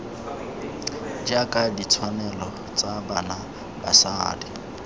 jaaka ditshwanelo tsa bana basadi